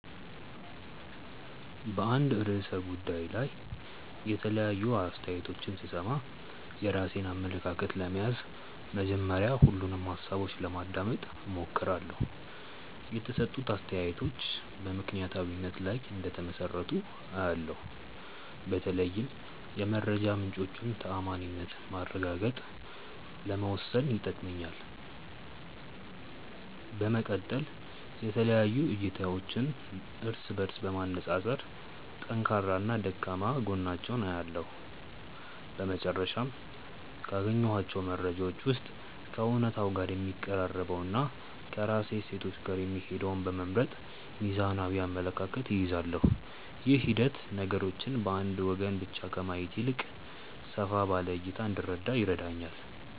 በአንድ ርዕሰ ጉዳይ ላይ የተለያዩ አስተያየቶችን ስሰማ፣ የራሴን አመለካከት ለመያዝ መጀመሪያ ሁሉንም ሃሳቦች ለማዳመጥ እሞክራለሁ። የተሰጡት አስተያየቶች በምክንያታዊነት ላይ እንደተመሰረቱ አያለው፤ በተለይም የመረጃ ምንጮቹን ተዓማኒነት ማረጋገጥ ለመወሰን ይጠቅመኛል። በመቀጠል የተለያዩ እይታዎችን እርስ በእርስ በማነፃፀር ጠንካራና ደካማ ጎናቸውን እለያለሁ። በመጨረሻም፣ ካገኘኋቸው መረጃዎች ውስጥ ከእውነታው ጋር የሚቀራረበውንና ከራሴ እሴቶች ጋር የሚሄደውን በመምረጥ ሚዛናዊ አመለካከት እይዛለሁ። ይህ ሂደት ነገሮችን በአንድ ወገን ብቻ ከማየት ይልቅ ሰፋ ባለ እይታ እንድረዳ ይረዳኛል።